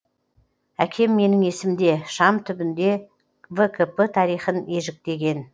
әкем менің есімде шам түбінде вкп тарихын ежіктеген